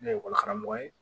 Ne ye ekɔli karamɔgɔ ye